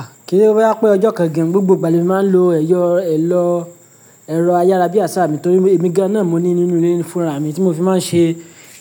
Ah! Kí se boya pé ọjọ́ kan gan gbogbo ìgbà ni mo máa ń lo ẹ̀yọ̀, ẹ̀lọ̀, ẹ̀rọ ayárabíàṣá mi torí èmi gan náà mo ní nínú ilé fúnra mi tí mo fi máa ń ṣe